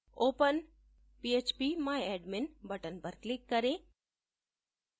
open phpmyadmin button पर click करें